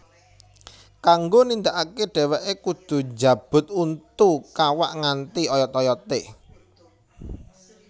Kanggo nindakake dheweke kudhu njabut untu kawak nganti oyot oyote